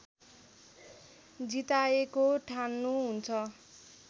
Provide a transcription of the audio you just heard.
जिताएको ठान्नुहुन्छ